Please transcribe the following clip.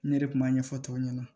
Ne de kun b'a ɲɛfɔ tɔw ɲɛna